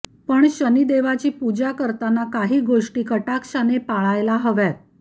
पण शनिदेकाची पूजा करताना काही गोष्टी कटाक्षाने पाळायला हव्यात